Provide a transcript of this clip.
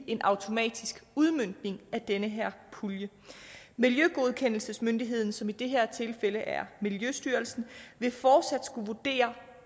en automatisk udmøntning af den her pulje miljøgodkendelsesmyndigheden som i det her tilfælde er miljøstyrelsen vil fortsat skulle vurdere